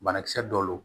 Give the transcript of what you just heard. Banakisɛ dɔ don